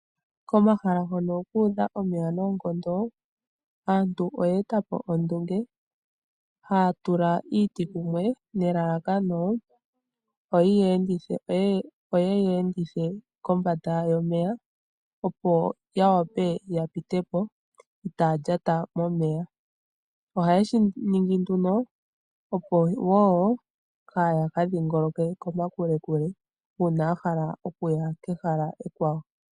Komahala hono ku udha omeya noonkondo aantu oye etapo ondunge haya tula iiti kumwe nelalakano oyi ya endithe kombanda yomeya Opo ya wape ya pitepo itaya lyata momeya ohayeshi ningi nduno opo woo kaya ka dhingoloke kokule uuna yahala okuya kehala ekwawo.